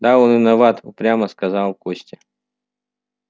да он виноват упрямо сказал костя